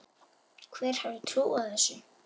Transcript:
Hver hefði trúað þessu?